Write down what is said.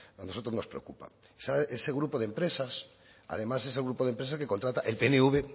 a nosotros nos preocupa ese grupo de empresas además es el grupo de empresas que contrata el pnv